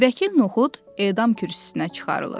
Vəkil Noxud edam kürsüsünə çıxarılır.